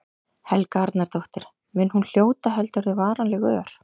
Helga Arnardóttir: Mun hún hljóta, heldurðu, varanleg ör?